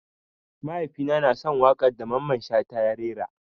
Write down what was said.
Mahaifi na na son wakan da Mamman shata ya rera.